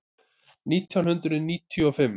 Nítján hundruð níutíu og fimm